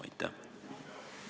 Aitäh!